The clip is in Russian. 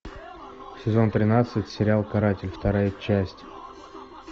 сезон тринадцать сериал каратель вторая часть